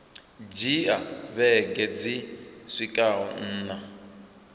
dzhia vhege dzi swikaho nṋa